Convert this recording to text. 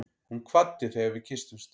Hún kvaddi þegar við kysstumst.